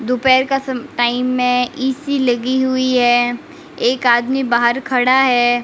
दोपहर का some time है ई_सी लगी हुई है एक आदमी बाहर खड़ा है।